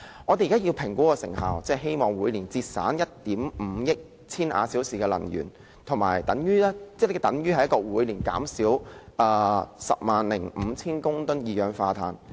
我們現時要評估成效，希望每年節省1億 5,000 萬千瓦小時的能源，等於每年減少 105,000 公噸二氧化碳。